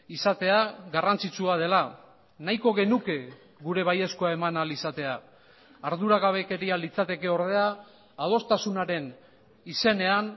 izatea garrantzitsua dela nahiko genuke gure baiezkoa eman ahal izatea arduragabekeria litzateke ordea adostasunaren izenean